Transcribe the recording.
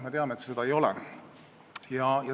Me teame, et see nii ei ole.